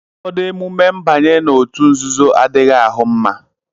ụfọdụ emume mbanye n'òtù nzuzo adịghị ahụ mma